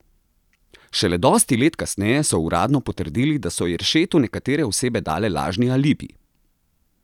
Šele dosti let kasneje so uradno potrdili, da so Jeršetu nekatere osebe dale lažni alibi!